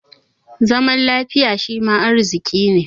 Zama da lafiya shima arziƙi ne.